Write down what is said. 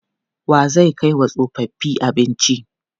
Wa zai kai wa tsofaffi abinci?